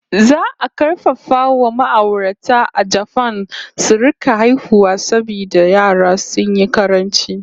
Za a karfafa wa ma'aurata a Japan su rika haihuwa saboda yara sun yi ƙaranci!